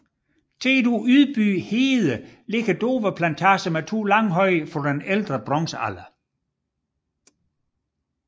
Tæt ved Ydby Hede ligger Dover Plantage med to langhøje fra ældre bronzealder